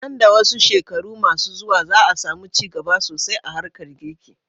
Nan da wasu shekaru ma su zuwa, za a samu ci gaba sosai a harkar girki.